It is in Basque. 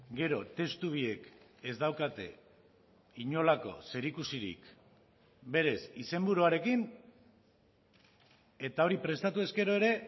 gero testu biek ez daukate inolako zerikusirik berez izenburuarekin eta hori prestatu ezkero ere